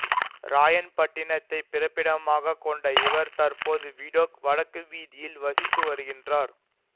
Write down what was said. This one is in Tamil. ராயன்பட்டினத்தைப் பிறப்பிடமாக கொண்ட இவர் தற்போது விடொக் வடக்கு வீதியில் வசித்துவருகின்றார்